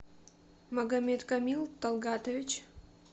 магомедкамил талгатович